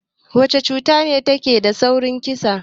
Wacce cuta ce take da saurin kissa?